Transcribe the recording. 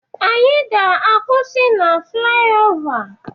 Anyị ga-akwụsị na flyaova